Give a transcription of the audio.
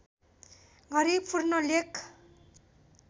गरी पूर्ण लेख